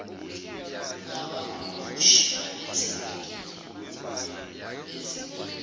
ngabahumushi abethembekile bezilimi